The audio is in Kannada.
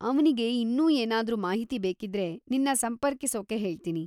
ಅವ್ನಿಗೆ ಇನ್ನೂ ಏನಾದ್ರೂ ಮಾಹಿತಿ ಬೇಕಿದ್ರೆ ನಿನ್ನ ಸಂಪರ್ಕಿಸೋಕ್ಕೆ ಹೇಳ್ತೀನಿ.